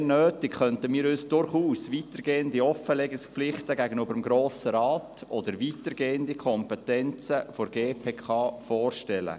Sofern nötig, könnten wir uns durchaus weitergehende Offenlegungspflichten gegenüber dem Grossen Rat oder weitergehende Kompetenzen der GPK vorstellen.